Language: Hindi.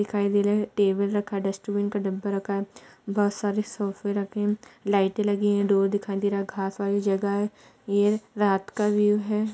दिखाई दे रहा है। टेबल रखा है। डस्टबिन का डब्बा रखा है। बहोत सारे सोफे रखे हैं। लाईटें लगी हैं। डोर दिखाई दे रहा है। घास वाली जगह है। ये रात का व्यू है।